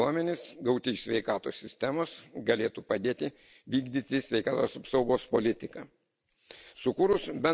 Konfidencialiai naudojami duomenys, gauti iš sveikatos sistemos galėtų padėti vykdyti sveikatos apsaugos politiką.